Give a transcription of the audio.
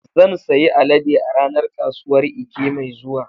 Zan sayi alade a ranar kasuwar Eke mai zuwa.